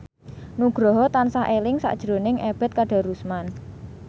Nugroho tansah eling sakjroning Ebet Kadarusman